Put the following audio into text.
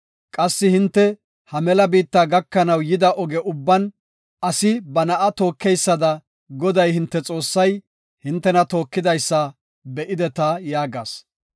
Qassi hinte ha mela biitta gakanaw yida oge ubban asi ba na7a tookeysada Goday hinte Xoossay hintena tookidaysa be7ideta” yaagas.